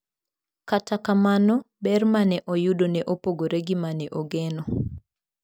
Kata kamano, ber ma ne oyudo ne opogore gi ma ne ogeno.